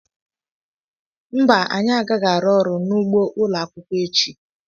Mba anyị agaghị arụ ọrụ n'ugbó ụlọakwụkwọ echi